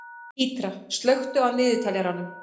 Mítra, slökktu á niðurteljaranum.